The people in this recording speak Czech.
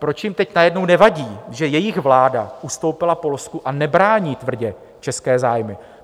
Proč jim teď najednou nevadí, že jejich vláda ustoupila Polsku a nebrání tvrdě české zájmy?